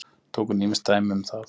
Tók hún ýmis dæmi um það.